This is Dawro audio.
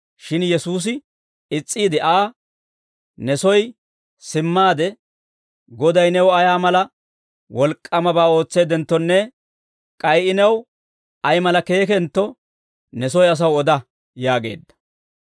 Shin Yesuusi is's'iide Aa, «Ne soy simmaade, Goday new ay mala wolk'k'aamabaa ootseeddenttonne k'ay I new ay mala keekentto ne soy asaw oda» yaageedda.